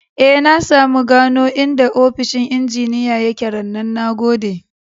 E, na samu gano inda ofishin injiniya ya ke rannan. Na gode.